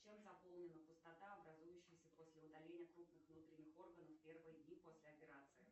чем заполнена пустота образующаяся после удаления крупных внутренних органов в первые дни после операции